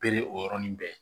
Bere o yɔrɔnin bɛɛ